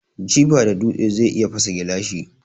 Jifa da dutse zai iya fasa gilashi.